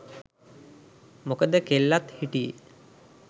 මොකද කෙල්ලත් හිටියේ